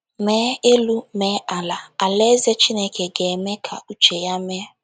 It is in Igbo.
Mee elu mee ala, Alaeze Chineke ga - eme ka uche ya mee.